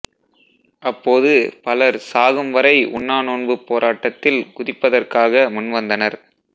அப்போது பலர் சாகும் வரை உண்ணாநோன்புப் போராட்டத்தில் குதிப்பதற்காக முன்வந்தனர்